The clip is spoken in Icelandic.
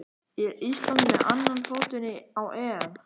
Er Ísland með annan fótinn á EM?